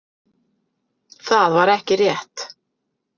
Það var ekki rétt.